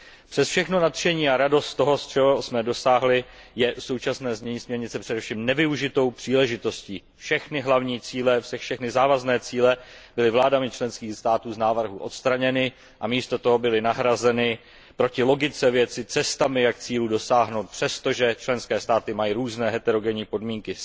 Přes všechno nadšení a radost z toho, čeho jsme dosáhli, je současné znění směrnice především nevyužitou příležitostí. Všechny hlavní cíle, všechny závazné cíle byly vládami členských států z návrhu odstraněny a místo toho byly nahrazeny proti logice věci cestami, jak cílů dosáhnout, přesto, že členské státy mají různé heterogenní podmínky.